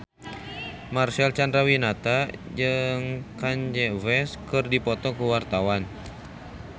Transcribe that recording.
Marcel Chandrawinata jeung Kanye West keur dipoto ku wartawan